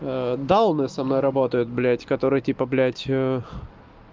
дауны со мной работают блядь которые типа блядь